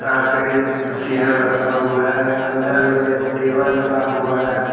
यहां पे चेयर रथा हुआ है अंदर मे टेबल रथा हुआ हैं।